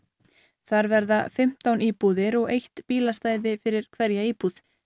þar verða fimmtán íbúðir og eitt bílastæði fyrir hverja íbúð